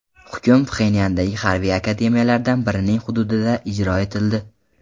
Hukm Pxenyandagi harbiy akademiyalardan birining hududida ijro etildi.